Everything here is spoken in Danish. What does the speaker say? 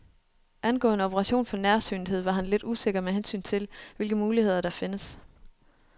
Angående operation for nærsynethed var han lidt usikker med hensyn til, hvilke muligheder der findes.